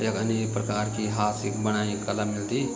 यख अनेक प्रकार की हाथ से बणायीं कला मिलदी।